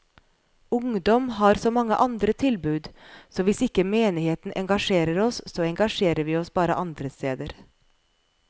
Ungdom har så mange andre tilbud, så hvis ikke menigheten engasjerer oss, så engasjerer vi oss bare andre steder.